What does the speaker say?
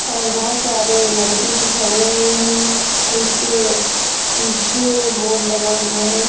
और बहोत सारे लड़के भी खड़े हुए है इसके पीछे बोर्ड लगा हुआ है।